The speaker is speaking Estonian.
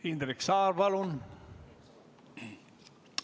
Indrek Saar, palun!